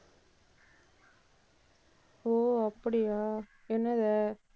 ஓ, அப்படியா? என்னது?